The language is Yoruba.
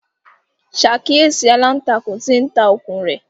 Ṣàkíyèsí aláǹtakùn tí ń ta okùn un rẹ̀!